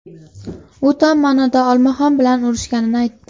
U tom ma’noda olmaxon bilan urushganini aytdi.